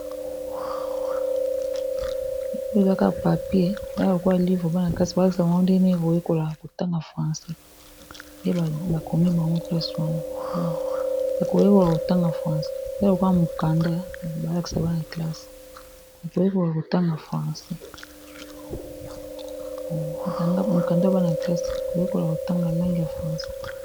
Oyo eza buku ya bana kelasi oyo babengaka namonoko ya lopoto livre bana kelasi kotanga monoko ya francais